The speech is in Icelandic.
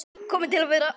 Kominn til að vera.